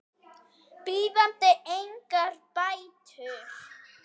bíðandi engar bætur.